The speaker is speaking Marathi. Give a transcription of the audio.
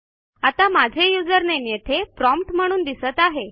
आता माझे यूझर नामे येथे प्रॉम्प्ट म्हणून दिसत आहे